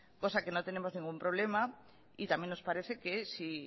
cosa que no tenemos ningún problema y también nos parece que si